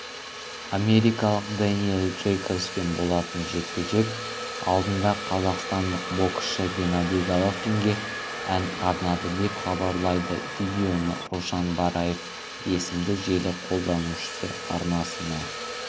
америкалық дэниэл джейкобспен болатын жекпе-жек алдында қазақстандық боксшы геннадий головкинге ән арнады деп хабарлайды видеоны рушан бараев есімді желі қолданушы арнасына